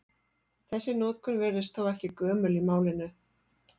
Þessi notkun virðist þó ekki gömul í málinu.